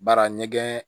Baara ɲɛgɛn